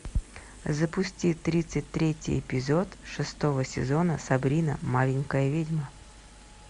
запусти тридцать третий эпизод шестого сезона сабрина маленькая ведьма